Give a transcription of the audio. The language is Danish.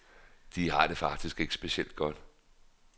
De har det faktisk ikke specielt godt.